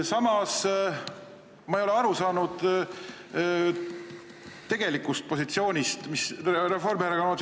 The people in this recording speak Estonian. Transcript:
Samas ma ei ole aru saanud tegelikust Reformierakonna positsioonist.